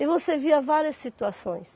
E você via várias situações.